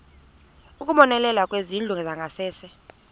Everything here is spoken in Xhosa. ukubonelela ngezindlu zangasese